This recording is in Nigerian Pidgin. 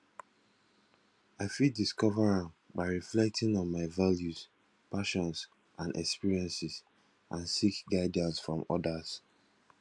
i fit discover am by reflecting on my values passions and experiences and seek guidance from odas